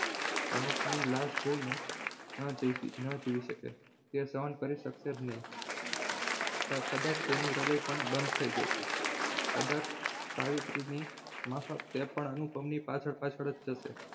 અનુપ ની લાશ જોઈને ન જીવી ન જીવી શકે તે સહન કરી શકશે જ નહીં કદાચ તેનું હૃદય પણ બંધ થઈ જશે કદાચ સાવિત્રીની માફક તે પણ અનુપમની પાછળ પાછળ જ જશે.